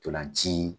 Ntolan ci